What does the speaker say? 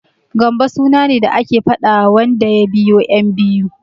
Gambo suna ne da ake faɗawa wanda ya biyo ƴan biyu.